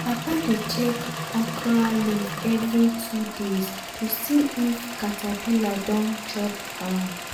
um papa dey check okra leaf every two days to see if caterpillar don chop am.